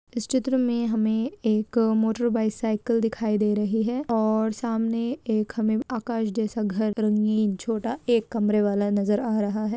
इस चित्र में हमे एक मोटर बाइसाइकिल दिखाई दे रही है और सामने एक हमे आकाश जैसा घर रंगीन छोटा एक कमरे वाला नज़र आ रहा है।